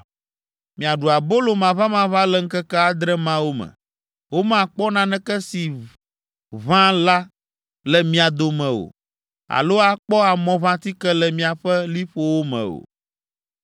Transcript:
Miaɖu abolo maʋamaʋã le ŋkeke adre mawo me; womakpɔ naneke si ʋã la le mia dome o alo akpɔ amɔʋãtike le miaƒe liƒowo me o.